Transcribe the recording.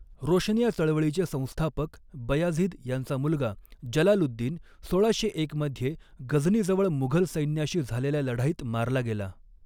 रोशनिया चळवळीचे संस्थापक बयाझिद यांचा मुलगा जलालुद्दीन सोळाशे एक मध्ये गझनीजवळ मुघल सैन्याशी झालेल्या लढाईत मारला गेला.